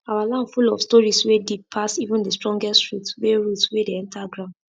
our land full of stories wey deep pass even the strongest root wey root wey dey enter ground